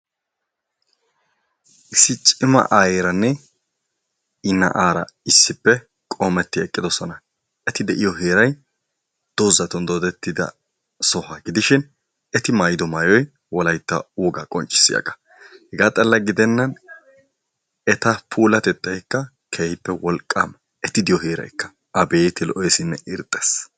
issi cima ayeeranne i na'aara issippe qoometti eqqidoosona. eeti de'iyoo heeray doozatun doodetida sohuwaa giidishin eeti maayido maayoy wolaytta wogaa qonccisiyaagaa. hegaa xala gidenna eta pulatetaykka keehippe wolaqaama. eeti de'iyoo heeraykka aabeti lo'eessinne irxxees.